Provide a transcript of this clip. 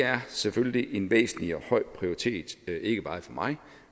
er selvfølgelig en væsentlig og høj prioritet ikke bare for mig